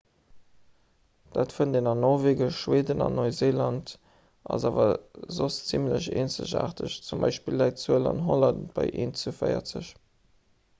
dat fënnt een an norwegen schweden an neuseeland ass awer soss zimmlech eenzegaarteg z. b. läit d'zuel an holland bei eent zu véierzeg